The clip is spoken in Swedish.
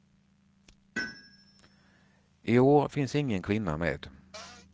I år finns ingen kvinna med.